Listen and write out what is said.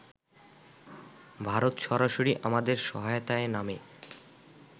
ভারত সরাসরি আমাদের সহায়তায় নামে